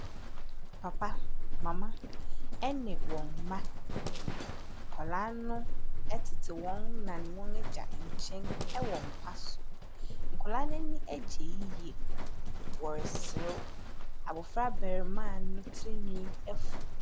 Papa, mama ne wɔn mma nkwadaa no tete wɔn na ne wɔn Agya nkyɛn wɔ mpa so. Nkwadaa no ani agye yie. Wɔreserew. Abaɔfr abaamua no tirinwi afu.